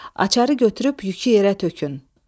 Açarı götürüb yükü yerə tökün.